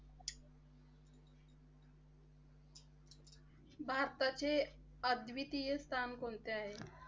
भारताचे अद्वितीय स्थान कोणते आहे?